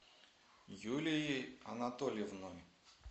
юлией анатольевной